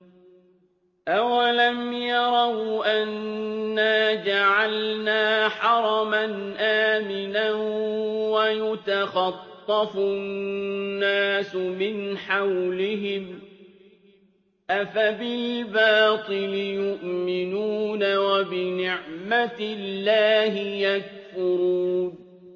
أَوَلَمْ يَرَوْا أَنَّا جَعَلْنَا حَرَمًا آمِنًا وَيُتَخَطَّفُ النَّاسُ مِنْ حَوْلِهِمْ ۚ أَفَبِالْبَاطِلِ يُؤْمِنُونَ وَبِنِعْمَةِ اللَّهِ يَكْفُرُونَ